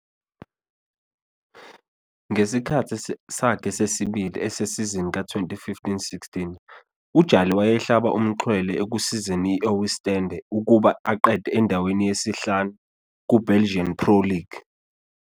Ngesikhathi sakhe sesibili esesizini ka-2015-16,uJali wayehlaba umxhwele ekusizeni u-Oostende ukuba aqede endaweni yesi-5 kuBelgian Pro League.